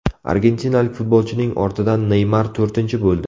Argentinalik futbolchining ortidan Neymar to‘rtinchi bo‘ldi.